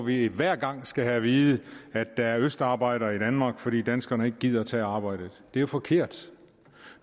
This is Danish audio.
vi hver gang skal have at vide at der er østarbejdere i danmark fordi danskerne ikke gider tage arbejdet det er jo forkert